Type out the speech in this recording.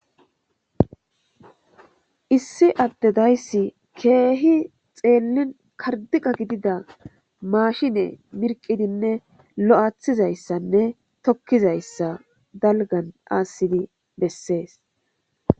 Issi addedayssi keehi xeellin kardiqa gidida maashine mirqidinne lo'aathizayssanne tokkizayssa dalgan aassidi bessees.